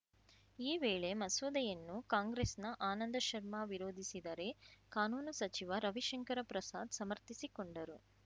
ಈ ವೇಳೆ ಮಸೂದೆಯನ್ನು ಕಾಂಗ್ರೆಸ್‌ನ ಆನಂದ ಶರ್ಮಾ ವಿರೋಧಿಸಿದರೆ ಕಾನೂನು ಸಚಿವ ರವಿಶಂಕರ ಪ್ರಸಾದ್‌ ಸಮರ್ಥಿಸಿಕೊಂಡರು